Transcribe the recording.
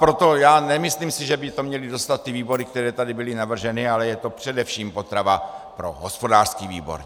Proto já nemyslím si, že by to měly dostat ty výbory, které tady byly navrženy, ale je to především potrava pro hospodářský výbor.